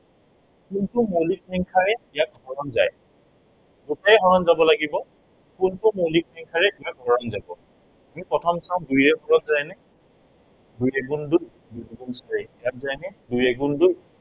কোনটো মৌলিক সংখ্য়াৰে ইয়াক হৰণ যায়। দিইটাকেে হৰ যাব লাগিব। কোনটো মৌলিক সংখ্য়াৰে ইয়াক হৰণ যায় আমি প্ৰথম চাম, দুইৰে হৰণ যায় নে? দুই এগুণ দুই, দুই দুগুণ চাৰি। ইয়াত যায় নে দুই এগুণ দুই